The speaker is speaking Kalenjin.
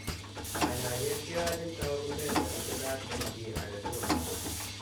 Kanyaayet keyachin taakunet ne bitunat en cchii age tugul.